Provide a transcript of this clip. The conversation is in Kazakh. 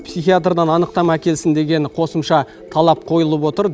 психиатрдан анықтама әкелсін деген қосымша талап қойылып отыр